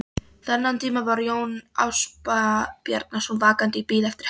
Þennan tíma var Jón Ásbjarnarson vakandi í bið eftir hefnd